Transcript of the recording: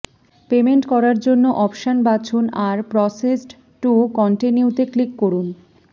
payment করার জন্য option বাছুন আর প্রসেসড টু কন্টিনিউতে ক্লিক করুন